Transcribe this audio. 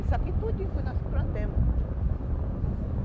Isso aqui tudinho fomos nós quem plantamos.